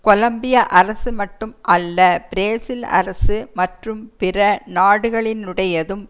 கொலம்பிய அரசு மட்டும் அல்ல பிரேசில் அரசு மற்றும் பிற நாடுகளினுடையதும்